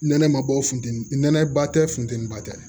Nɛnɛ ma bɔ funteni nɛnɛ ba tɛ funteni ba tɛ